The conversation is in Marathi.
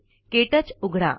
के टच उघडा